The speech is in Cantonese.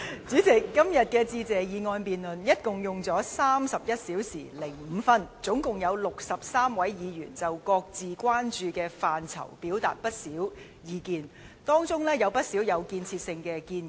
主席，今天有關"致謝議案"的辯論歷時共31小時5分鐘，共有63位議員就各自關注的範疇表達了不少意見，當中有不少屬有建設性的建議。